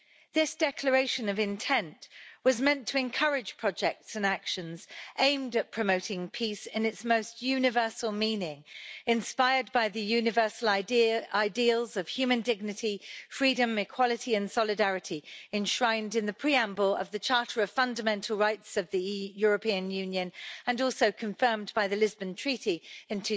This declaration of intent was meant to encourage projects and actions aimed at promoting peace in its most universal meaning, inspired by the universal ideals of human dignity, freedom, equality and solidarity enshrined in the preamble of the Charter of Fundamental Rights of the European Union, and also confirmed by the Lisbon Treaty in